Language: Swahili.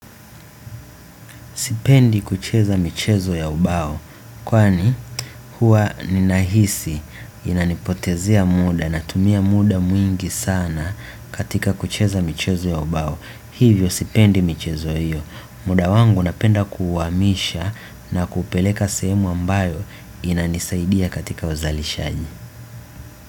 Sipendi kucheza michezo ya ubao kwani huwa ninahisi inanipotezea muda natumia muda mwingi sana katika kucheza michezo ya ubao hivyo sipendi michezo hiyo muda wangu napenda kuhamisha na kupeleka sehemu ambayo inanisaidia katika uzalishaji.